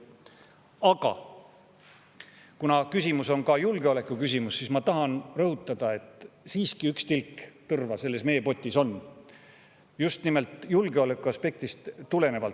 Aga kuna see on ka julgeolekuküsimus, siis ma tahan rõhutada, et siiski üks tilk tõrva selles meepotis on, just nimelt julgeolekuaspektist tulenevalt.